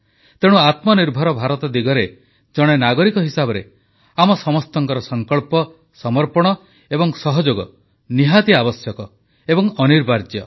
ତେଣୁ ଆତ୍ମନିର୍ଭର ଭାରତ ଦିଗରେ ଜଣେ ନାଗରିକ ହିସାବରେ ଆମ ସମସ୍ତଙ୍କ ସଂକଳ୍ପ ସମର୍ପଣ ଏବଂ ସହଯୋଗ ନିହାତି ଆବଶ୍ୟକ ଏବଂ ଅନିବାର୍ଯ୍ୟ